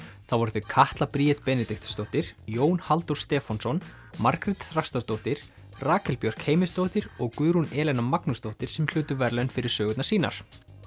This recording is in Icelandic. það voru þau Katla Bríet Benediktsdóttir Jón Halldór Stefánsson Margrét Þrastardóttir Rakel Björk Heimisdóttir og Guðrún Magnúsdóttir sem hlutu verðlaun fyrir sögunar sínar